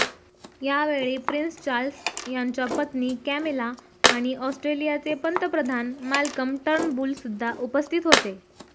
यावेळी Prince Charles यांच्या पत्नी कॅमिला आणि ऑस्ट्रेलियाचे पंतप्रधान माल्कम टर्नबुल सुद्धा उपस्थित होते